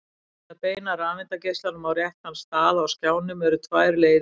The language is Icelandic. til að beina rafeindageislanum á réttan stað á skjánum eru tvær leiðir færar